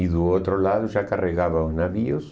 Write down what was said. E do outro lado já carregava os navios.